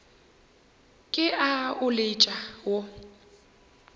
ke a o letša wo